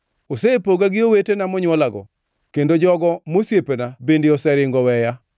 “Osepoga gi owetena monywolago; kendo jogo mosiepena bende oseringo oweya.